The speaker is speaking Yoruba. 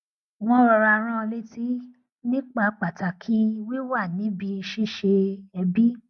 wọn rọra rán an létí nípa pàtàkì wíwà ní ibi ṣíṣe ẹbi